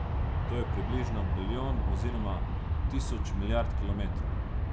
To je približno bilijon oziroma tisoč milijard kilometrov.